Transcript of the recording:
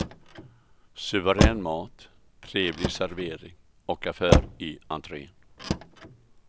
Suverän mat, trevlig servering och affär i entrén.